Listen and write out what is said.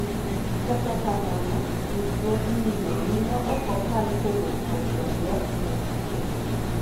kata kamano, ruchruogni ng'eny ne ok kal kawuok kuom janyuol ne nyathi